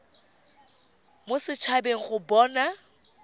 mo set habeng go bona